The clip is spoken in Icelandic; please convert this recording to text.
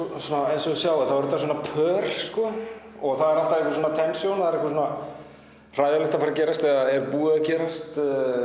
eins og þið sjáið eru þetta svona pör og það er alltaf einhver tension það er eitthvað hræðilegt að fara að gerast eða búið að gerast